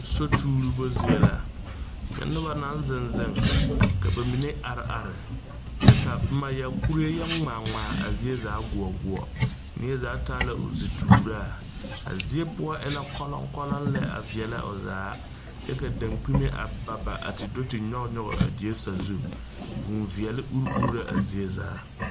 Sotuuroba zie la, nyɛ noba naŋ zeŋ zeŋ ka ba mine are are kyɛ ka kurie yɔ ŋmaa ŋmaa a zie zaa guo guo, neɛ zaa taa la o zituuraa a zie poɔ e la kɔloŋ kɔloŋ lɛ a veɛlɛ o zaa kyɛ ka dakpimɛ ba ba a te do te nyɔge a die saa zu vʋʋ veɛlɛ uri uri la a zie zaa.